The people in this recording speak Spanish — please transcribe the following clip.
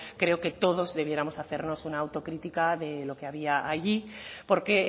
creo que todos debiéramos hacernos una autocrítica de lo que había allí porque